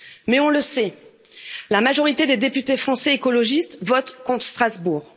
Mais on le sait la majorité des députés français écologistes votent contre Strasbourg.